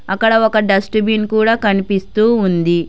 అక్కడ ఒక dustbin కూడా కనిపిస్తూ ఉంది.